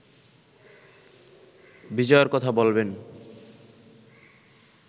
বিজয়ের কথা বলবেন